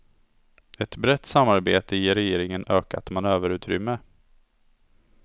Ett brett samarbete ger regeringen ökat manöverutrymme.